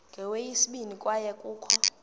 kweyesibini kwaye kukho